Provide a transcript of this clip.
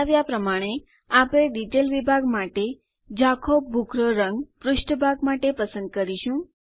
બતાવ્યાં પ્રમાણે આપણે ડિટેલ વિભાગ માટે ઝાંખો ભૂખરો પુષ્ઠભાગ પસંદ કરીશું